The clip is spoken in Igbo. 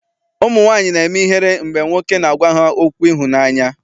Ụmụnwaanyị na-eme ihere mgbe nwoke na-agwa ha okwu ịhụnaanya.